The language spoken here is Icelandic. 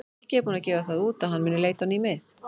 Helgi er búinn að gefa það út að hann mun leita á ný mið.